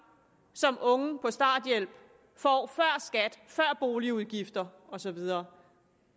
som unge på starthjælp får før skat før boligudgifter og så videre